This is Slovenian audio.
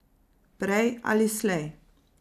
Prej ali slej.